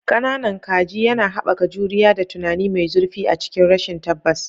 "Ƙananan Kaji" yana haɓaka juriya da tunani mai zurfi a cikin rashin tabbas.